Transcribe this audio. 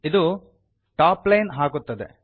ಇದು ಟಾಪ್ಲೈನ್ ಹಾಕುತ್ತದೆ